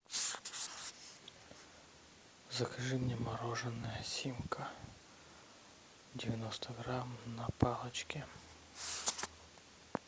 закажи мне мороженое симка девяносто грамм на палочке